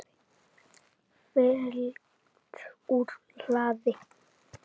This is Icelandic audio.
Fylgt úr hlaði